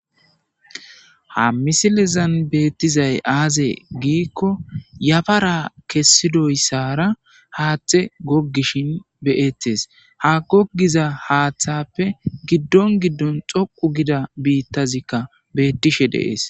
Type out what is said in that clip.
ha misilizan beettizay aaze giikko yafara kessidoyssara haaththe goggishin beyettes ha gogiza haaththappe giddon giddon xoqu gida biittazikka beettishe deees